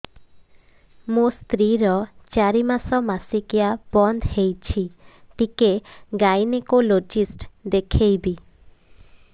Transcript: ମୋ ସ୍ତ୍ରୀ ର ଚାରି ମାସ ମାସିକିଆ ବନ୍ଦ ହେଇଛି ଟିକେ ଗାଇନେକୋଲୋଜିଷ୍ଟ ଦେଖେଇବି